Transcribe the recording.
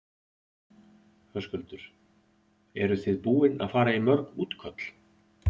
Höskuldur: Eru þið búin að fara í mörg útköll?